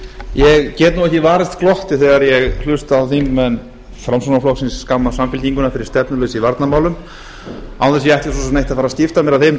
ég get nú ekki varist glotti þegar ég hlusta á þingmenn framsóknarflokksins skamma samfylkinguna fyrir stefnuleysi í varnarmálum án þess ég ætli svo sem neitt að skipta mér af þeim